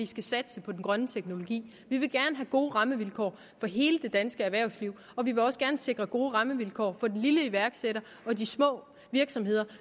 skal satse på den grønne teknologi vi vil gerne have gode rammevilkår for hele det danske erhvervsliv og vi vil også gerne sikre gode rammevilkår for den lille iværksætter og de små virksomheder